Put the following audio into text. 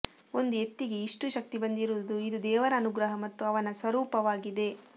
ಒಂದು ಎತ್ತಿಗೆ ಇಷ್ಟು ಶಕ್ತಿ ಬಂದಿರುವುದು ಇದು ದೇವರ ಅನುಗ್ರಹ ಮತ್ತು ಅವನ ಸ್ವರೂಪವಾಗಿದೆ